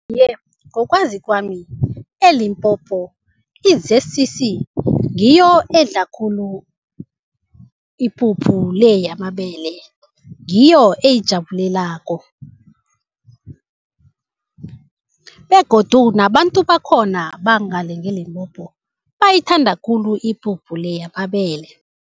Iye, ngokwazi kwami eLimpopo i-Z_C_C ngiyo edla khulu ipuphu le yamabele. Ngiyo eyijabulelako begodu nabantu bakhona bangale ngeLimpopo bayithanda khulu ipuphu le yamabele.